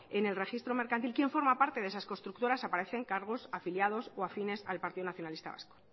en el registro mercantil quién forma parte de esas constructoras aparecen cargos afiliados o afines al partido nacionalista vasco